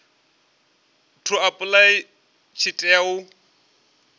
to apply tshi tea u